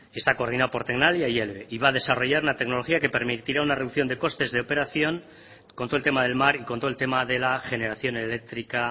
está coordinado por tecnalia y eve y va a desarrollar una tecnología que permitirá una reducción de costes de operación con todo el tema del mar y con todo el tema de la generación eléctrica